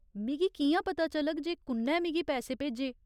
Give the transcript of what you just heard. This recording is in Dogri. मिगी कि'यां पता चलग जे कु'न्नै मिगी पैसे भेजे ?